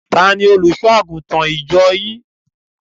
Tani Olùṣọ́-àgùntàn ìjọ yín?